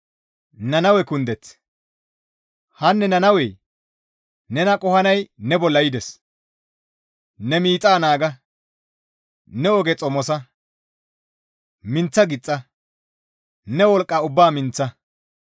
Hanne Nannawe! Nena qohanay ne bolla yides; ne miixa naaga; ne oge xomosa; minththa gixxa; ne wolqqa ubbaa minththa.